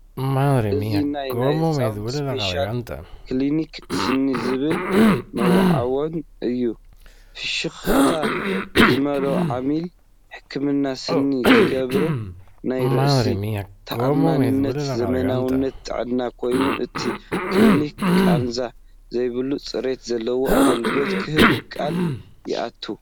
እዚ ናይ "ናይ ህጻናት ስፔሻሊቲ ክሊኒክ ስኒ" ዝብል መወዓውዒ እዩ። ፍሽኽታ ዝመልኦ ዓሚል ሕክምና ስኒ ዝገብር ናይ ርእሰ ተኣማንነትን ዘመናዊነትን ጥዕናን ኮይኑ፡ እቲ ክሊኒክ ቃንዛ ዘይብሉን ጽሬት ዘለዎን ኣገልግሎት ክህብ ቃል ይኣቱ።